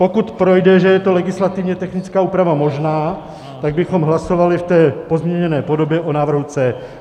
Pokud projde, že je to legislativně technická úprava možná, tak bychom hlasovali v té pozměněné podobě o návrhu C.